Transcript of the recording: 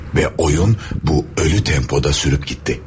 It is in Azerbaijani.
Və oyun bu ölü tempoda sürüb getti.